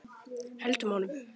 Höldum honum!